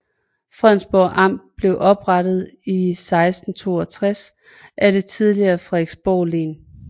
Frederiksborg Amt blev oprettet i 1662 af det tidligere Frederiksborg Len